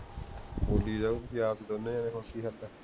ਬੋਲੀ ਜਾਓ, ਤੁਸੀਂ ਆਪ ਦੋਨੋ ਜਾਣੇ ਹੁਣ ਕਿ ਕਰਣਾ